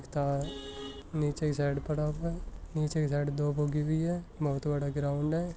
हिस्सा नीचे साईड पड़ा हुआ है नीचे के साईड दूब उगी हुयी है बहुत बड़ा ग्राउंड है।